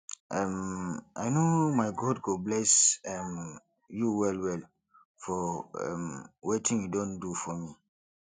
um i know my god go bless um you well well for um wetin you don do for me